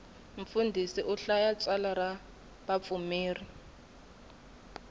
mfundhisi u hlaya tsalwa ra vapfumeri